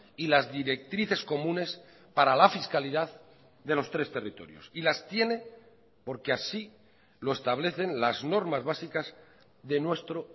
y las directrices comunes para la fiscalidad de los tres territorios y las tiene porque así lo establecen las normas básicas de nuestro